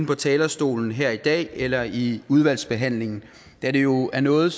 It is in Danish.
på talerstolen her i dag eller i udvalgsbehandlingen da det jo er noget